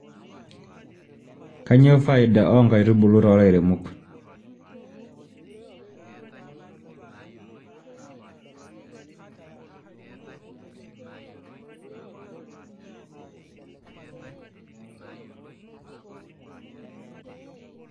repeating the same question